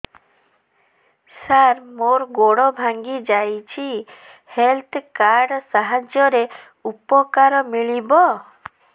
ସାର ମୋର ଗୋଡ଼ ଭାଙ୍ଗି ଯାଇଛି ହେଲ୍ଥ କାର୍ଡ ସାହାଯ୍ୟରେ ଉପକାର ମିଳିବ